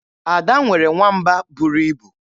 Ada nwere nwamba buru ibu.